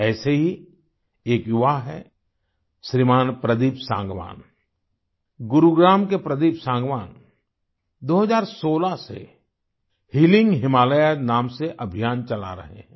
ऐसे ही एक युवा हैं श्रीमान प्रदीप सांगवान गुरुग्राम के प्रदीप सांगवान 2016 से हीलिंग हिमालयास नाम से अभियान चला रहे हैं